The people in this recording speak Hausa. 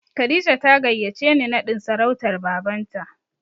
Kadija ta gayyace ni naɗin sarautar Babanta.